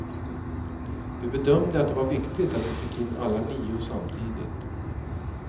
Vi bedömde att det var viktigt att vi fick in alla nio samtidigt.